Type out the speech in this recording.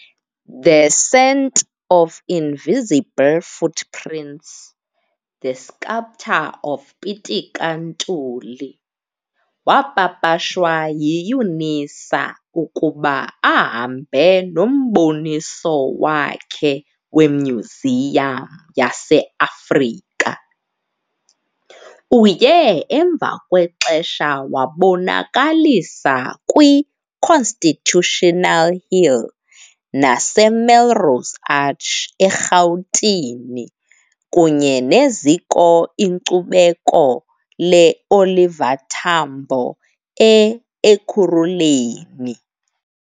'The Scent of Invisible Footprints- The Sculptor of Pitika Ntuli' wapapashwa yi-UNISA ukuba ahambe noMboniso wakhe weMyuziyam yase-Afrika. Uye emva kwexesha wabonakalisa kwi-Constitutional Hill naseMelrose Arch eRhawutini kunye neZiko iNkcubeko le-Oliver Tambo e-Ekhuruleni.